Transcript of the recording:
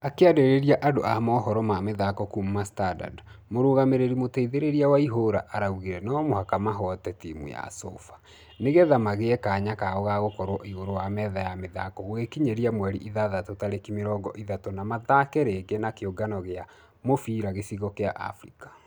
Akĩarĩria andũ amohoro ma mĩthako kuuma standard mũrugamĩrĩri mũteithereria waihura araugire nũmũhaka mahote timũ ya sofa. Nĩgetha maigĩ kanya kao gagũkorwo igũrũ wa metha ya mĩthako gũgĩkinya mweri itandatũ tarĩki mĩrongo ithatũ na mathakĩ rigi ya kĩũngano gĩa mũbira baara ya africa.